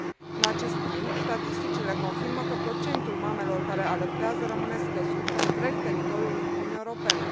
În acest timp, statisticile confirmă că procentul mamelor care alăptează rămâne scăzut pe întreg teritoriul Uniunii Europene.